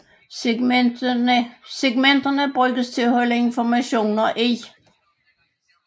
Segmenterne bruges til at holde informationer i